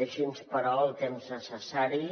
deixi’ns però el temps necessari